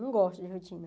Não gosto de rotina.